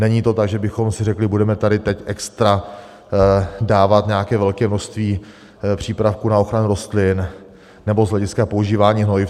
Není to tak, že bychom si řekli: budeme tady teď extra dávat nějaké velké množství přípravků na ochranu rostlin nebo z hlediska používání hnojiv.